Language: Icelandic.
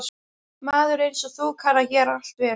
Maður einsog þú kann að gera allt vel.